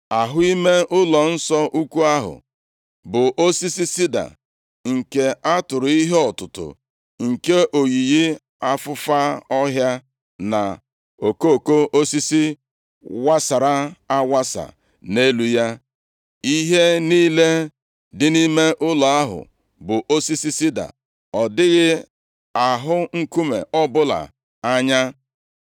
Ahụ ime ụlọnsọ ukwu ahụ bụ osisi sida, nke a tụrụ ihe ọtụtụ nke oyiyi afụfa ọhịa na okoko osisi wasara awasa nʼelu ya. Ihe niile dị nʼime ụlọ ahụ bụ osisi sida, adịghị ahụ nkume ọbụla anya.